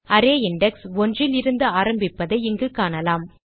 array index ஒன்றிலிருந்து ஆரம்பிப்பதை இங்கு காணலாம்